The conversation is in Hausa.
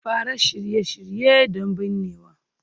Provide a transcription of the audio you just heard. Fara Shirye-shirye don binnewa